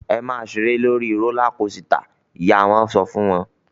"Ẹ máa ṣeré lórí rólá kosità!" Ìyá wọn sọ fún wọn.